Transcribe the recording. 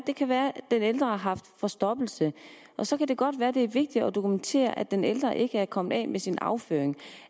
det kan være den ældre har haft forstoppelse og så kan det godt være det er vigtigt at dokumentere at den ældre ikke er kommet af med sin afføring